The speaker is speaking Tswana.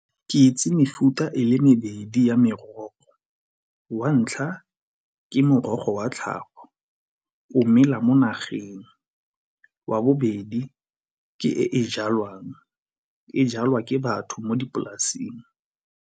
Ke itse mefuta e le mebedi ya merogo. Wa ntlha ke morogo wa tlhago o mela mo nageng. Wa bobedi ke e jalwang, e jalwa ke batho mo dipolasing.